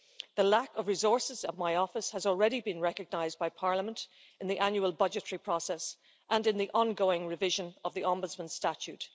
The lack of resources of my Office has already been recognised by Parliament in the annual budgetary process and in the ongoing revision of the Ombudsman statute.